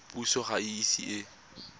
puso ga e ise e